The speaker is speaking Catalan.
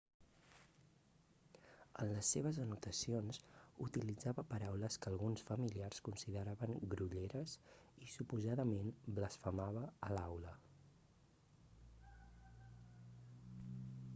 en les seves anotacions utilitzava paraules que alguns familiars consideraven grolleres i suposadament blasfemava a l'aula